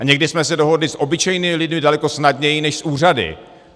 A někdy jsme se dohodli s obyčejnými lidmi daleko snadněji než s úřady.